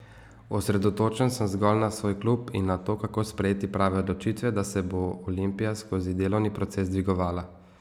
Osredotočen sem zgolj na svoj klub in na to, kako sprejeti prave odločitve, da se bo Olimpija skozi delovni proces dvigovala.